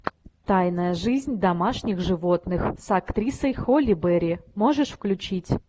тайная жизнь домашних животных с актрисой холли берри можешь включить